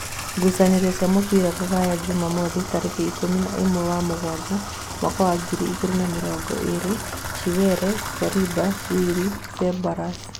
Ngucanio cia mũbira Rūraya Jumamothi tarĩki ikũmi na ĩmwe wa mũgwanja mwaka wa ngiri igĩrĩ na mĩrongo ĩrĩ: Chiweri, Korimba, Wili, Cebaros